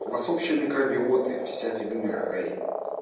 у вас общие микробиоты вся фигня эй